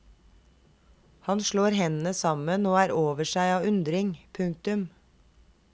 Han slår hendene sammen og er over seg av undring. punktum